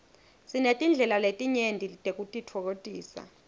sinetindlela letinyenti tekutitfokotisa